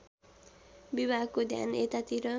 विभागको ध्यान यतातिर